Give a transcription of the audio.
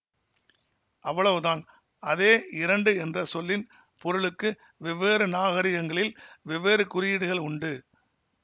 அவ்வளவுதான் அதே இரண்டு என்ற சொல்லின் பொருளுக்கு வெவ்வேறு நாகரிகங்களில் வெவ்வேறு குறியீடுகள் உண்டு